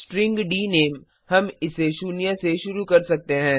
string डीनेम हम इसे शून्य से शुरू कर सकते हैं